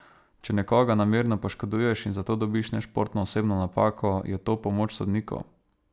Če nekoga namerno poškoduješ in za to dobiš nešportno osebno napako, je to pomoč sodnikov?